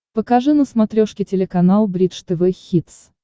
покажи на смотрешке телеканал бридж тв хитс